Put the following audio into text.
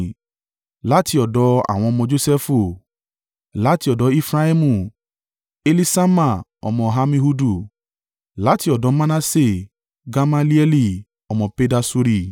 Láti ọ̀dọ̀ àwọn ọmọ Josẹfu: láti ọ̀dọ̀ Efraimu, Eliṣama ọmọ Ammihudu. Láti ọ̀dọ̀ Manase, Gamalieli ọmọ Pedasuri.